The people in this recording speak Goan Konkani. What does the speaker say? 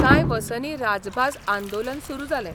कांय र्वसानी राजभास आंदोलन सुरू जालें.